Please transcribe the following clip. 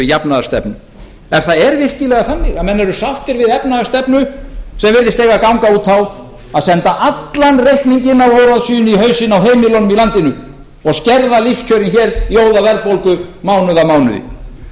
jafnaðarstefnu ef það er virkilega þannig að menn eru sáttir við efnahagsstefnu sem virðist eiga að ganga út á að senda allan reikninginn af óráðsíunni í hausinn á heimilunum í landinu og skerða lífskjörin hér í óðaverðbólgu mánuð af mánuði